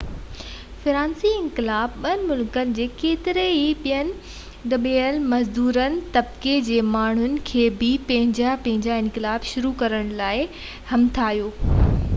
فرانسيسي انقلاب ٻين ملڪن جي ڪيترن ئي ٻين دٻيل مزدور طبقي جي ماڻهن کي بہ پنهنجا پنهنجا انقلاب شروع ڪرڻ لاءِ همٿايو